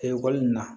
Ekɔli nin na